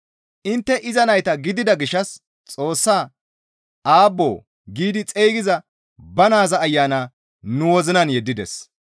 Intte iza nayta gidida gishshas Xoossaa, «Aabboo» giidi xeygiza ba naaza Ayana nu wozinan yeddides.